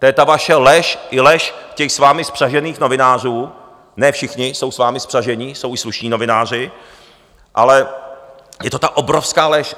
To je ta vaše lež i lež těch s vámi spřažených novinářů, ne všichni jsou s vámi spřažení, jsou i slušní novináři, ale je to ta obrovská lež.